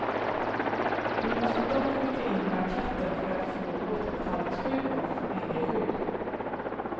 Du måste dock skicka in blanketten för att få återbetalningsskydd och familjeskydd.